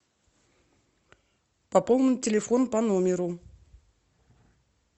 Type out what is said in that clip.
пополнить телефон по номеру